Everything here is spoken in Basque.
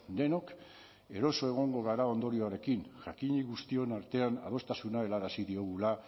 denok eroso egongo gara ondorioarekin jakinik guztion artean adostasuna helarazi diogula